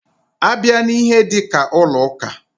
A bịa n'ihe dika ụlọ ụka.